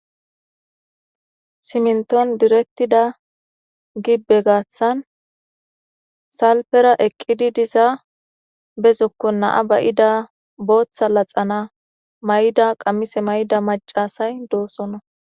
simniton direttida gibbe gaaththan salfera eqqidi diza be zokkon na7a ba7ida booththa laxana mayida qammise mayida macasay doosona.